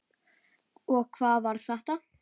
Og hvað var þetta?